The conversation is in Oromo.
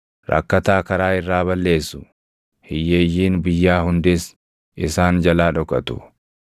Rakkataa karaa irraa balleessu; hiyyeeyyiin biyyaa hundis isaan jalaa dhokatu.